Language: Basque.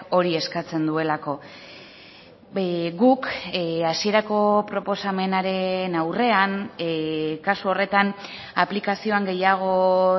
hori eskatzen duelako guk hasierako proposamenaren aurrean kasu horretan aplikazioan gehiago